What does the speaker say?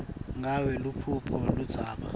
ngabe nguluphi ludzaba